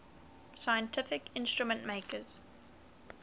scientific instrument makers